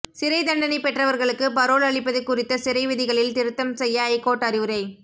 சிறை தண்டனை பெற்றவர்களுக்கு பரோல் அளிப்பது குறித்த சிறை விதிகளில் திருத்தம் செய்ய ஐகோர்ட் அறிவுரை